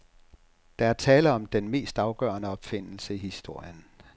Der er tale om den mest afgørende opfindelse i historien.